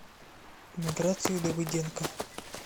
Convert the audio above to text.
миграцию давыденко